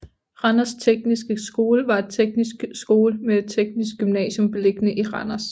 Randers Tekniske Skole var en teknisk skole med teknisk gymnasium beliggende i Randers